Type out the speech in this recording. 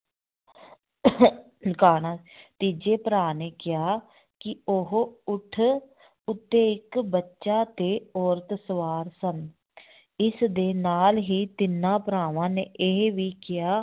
ਕਾਣਾ ਤੀਜੇ ਭਰਾ ਨੇ ਕਿਹਾ ਕਿ ਉਹ ਊਠ ਉੱਤੇ ਇੱਕ ਬੱਚਾ ਤੇ ਔਰਤ ਸਵਾਰ ਸਨ ਇਸ ਦੇ ਨਾਲ ਹੀ ਤਿੰਨਾਂ ਭਰਾਵਾਂ ਨੇ ਇਹ ਵੀ ਕਿਹਾ